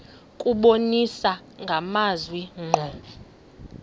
kubonisa amazwi ngqo